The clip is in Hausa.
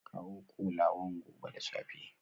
A kawo kolawan gobe da safe